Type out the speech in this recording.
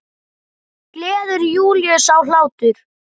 Gleður Júlíu sá hlátur.